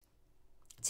TV 2